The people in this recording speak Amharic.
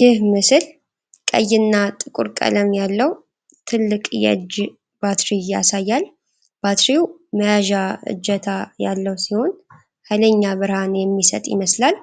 ይህ ምስል ቀይና ጥቁር ቀለም ያለው ትልቅ የእጅ ባትሪ ያሳያል:: ባትሪው መያዣ እጀታ ያለው ሲሆን:: ኃይለኛ ብርሃን የሚሰጥ ይመስላል::